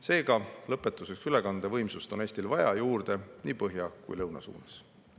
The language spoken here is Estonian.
Seega, lõpetuseks, ülekandevõimsust on Eestil vaja juurde nii põhja kui ka lõuna suunas.